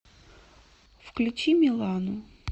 включи милану